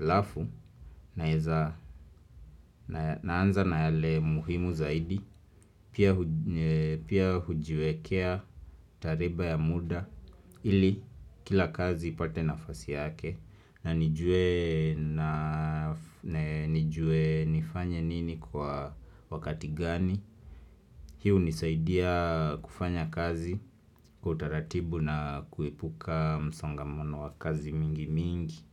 Alafu naanza na yale muhimu zaidi Pia hujiwekea tariba ya muda ili kila kazi ipate nafasi yake na nijue nifanye nini kwa wakati gani Hii hunisaidia kufanya kazi kwa taratibu na kuepuka msongamano wa kazi mingi mingi.